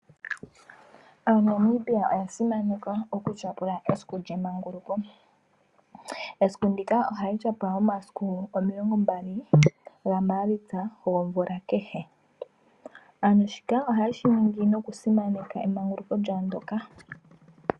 AaNamibia oya simaneka okutyapula esiku lyemanguluko . Esiku ndika ohali tyapulwa momasiku omilongombali nalimwe ga maalitsa omvula kehe. shika oha yeshi ningi noku simaneka emanguluko lyawo ndoka.